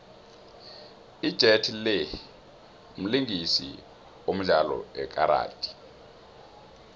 ijet lee mlingisi odlalo lkaradi